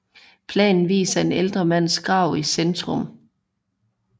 Planen viser en ældre mands grav i centrum